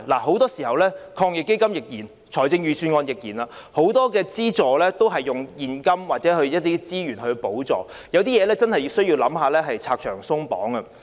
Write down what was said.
很多時候，防疫抗疫基金及預算案的資助都是以現金或資源作補助，但有些情況真的要考慮如何拆牆鬆綁。